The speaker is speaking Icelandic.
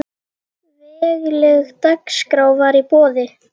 Vegleg dagskrá var í boði.